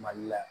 Mali la